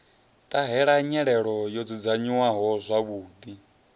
ṱahela nyelelo yo dzudzanyiwaho zwavhuḓi